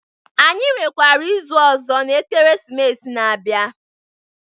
Anyi nwekwara izu ọzọ n'Ekeresimesi na-abịa.